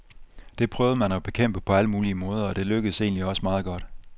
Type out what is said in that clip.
Det prøvede man at bekæmpe på alle mulige måder, og det lykkedes egentlig også meget godt.